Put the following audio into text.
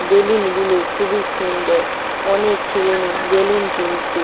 Balloon গুলো খুবই সুন্দর অনেক ছেলে মেয়ে বেলুন কিনছে।